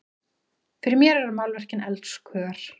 Fyrir mér eru málverkin elskhugar!